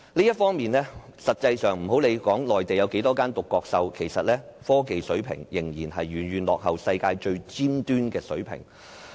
這方面，實際上，不論內地有多少間獨角獸公司，其實，科技水平仍然遠遠落後世界最尖端的水平。